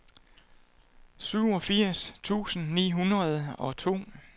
syvogfirs tusind ni hundrede og to